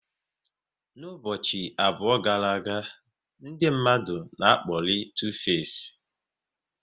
N'ụbọchị abụọ gara aga, ndị mmadụ na akpori Tu face